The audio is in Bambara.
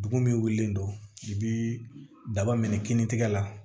Bugun min wulilen don i bɛ daba minɛ kinintigɛ la